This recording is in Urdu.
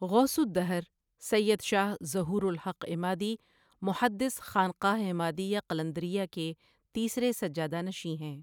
غوث الدہر سید شاہ ظہورالحق عمادی محدث خانقاہ عمادیہ قلندریہ کے تیسرے سجادہ نشین ہیں ۔